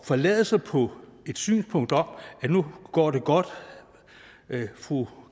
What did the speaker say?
forlade sig på et synspunkt om at nu går det godt fru